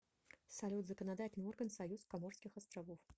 салют законодательный орган союз коморских островов